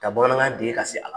Ka bamanankan dege ka se a la.